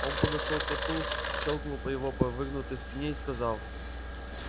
он подошёл к коту щёлкнул по его по выгнутой спине и сказал